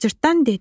Cırtdan dedi: